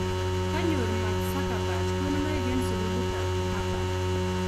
konyoru Mark zuckerberg konunoik eng sugulik ab Harvard